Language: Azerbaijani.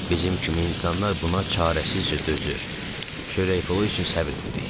Bizim kimi insanlar buna çarəsizcə dözür, çörək pulu üçün səbr edirik.